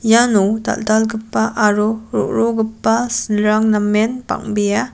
iano dal·dalgipa aro ro·rogipa silrang namen bang·bea.